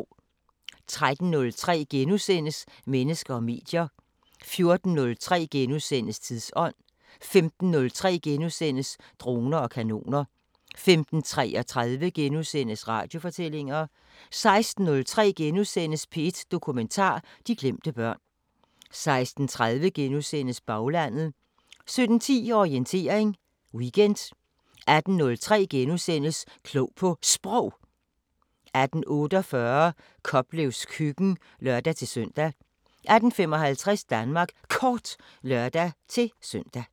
13:03: Mennesker og medier * 14:03: Tidsånd * 15:03: Droner og kanoner * 15:33: Radiofortællinger * 16:03: P1 Dokumentar: De glemte børn * 16:30: Baglandet * 17:10: Orientering Weekend 18:03: Klog på Sprog * 18:48: Koplevs køkken (lør-søn) 18:55: Danmark Kort (lør-søn)